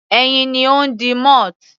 Ẹyin ni ó ń di moth.